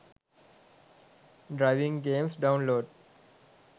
driving games download